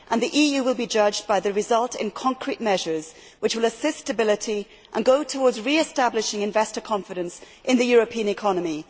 The EU will be judged by its results, in terms of concrete measures which will assist stability and go towards re establishing investor confidence in the European economy.